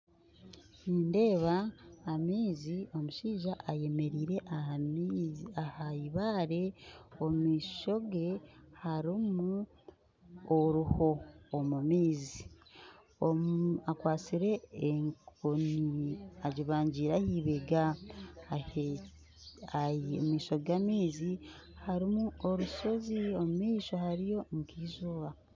Nindeeba amaizi omushaija ayemereire aha maizi aha ibare omumaisho ge hariho oruho omu maizi akwatsire enkoni agibangiire ahibega omu maisho g'amaizi harimu orushozi omu maisho hariyo nk'eizooba.